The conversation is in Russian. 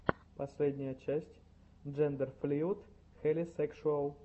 последняя часть джендерфлуид хелисекшуал